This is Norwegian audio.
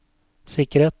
sikkerhet